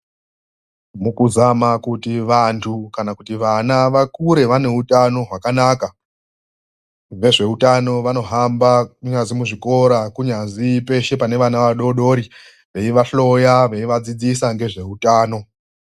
Mukuzama kuti vantu kana kuti vana vakure vane hutano hwakanaka, vezvehutano vanohamba kunyazi muzvikoro, kunyazi pese pane vana vadodori vei vahloya , veivadzidzisa nezvehutano.